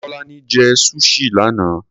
Tọ́lání jẹ́ Sushi lánàá.